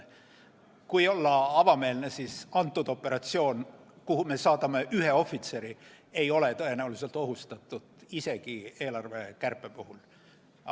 Kui olla avameelne, siis see operatsioon, kuhu me saadame ühe ohvitseri, ei ole tõenäoliselt ohustatud isegi eelarvekärpe puhul.